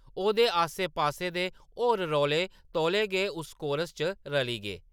ओह्‌‌‌दे आस्से-पास्से दे होर रौले तौले गै उस कोरस च रली गे ।